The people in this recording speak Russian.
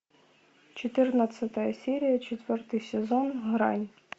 четырнадцатая серия четвертый сезон грань